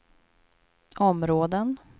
områden